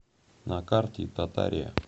на карте татария